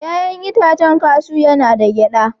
Ya'yan itacen kashu yana da gyada.